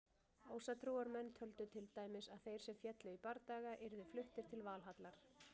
Ásatrúarmenn töldu til dæmis að þeir sem féllu í bardaga yrðu fluttir til Valhallar.